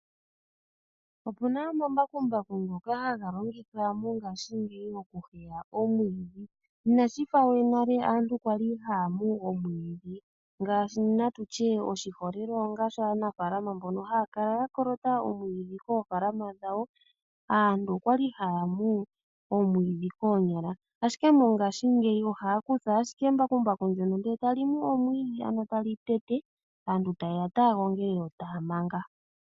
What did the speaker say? Opu na omambakumbaku ngoka haga longithwa mongashingeyi okumwa omwiidhi. Inashi fa we nale aantu kwa li haya mu omwiidhi natu tye oshiholelwa ngaashi aanafalama mbono ya kala ya kolota omwiidhi koofalama dhawo, aantu okwa li haya mu omwiidhi koonyala. Ashike mongashingeyi aantu ohaya kutha ashike embakumbaku ndyono e ta li mu omwiidhi ano tali tete , yo aantu ta yeya okugongela nokumanga.